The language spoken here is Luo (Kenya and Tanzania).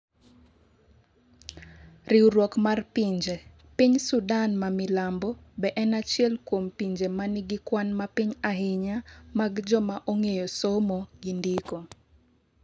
Riwruok mar pinje :piny sudan ma milambo be en achiel kuom pinje manigi kwan mapiny ahinya mag joma ong'eyo somo gi ndiko